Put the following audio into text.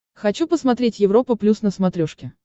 хочу посмотреть европа плюс на смотрешке